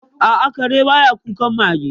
A'a, kare ba ya kukan mage.